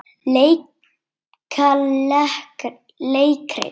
Leika leikrit